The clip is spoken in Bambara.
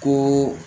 Ko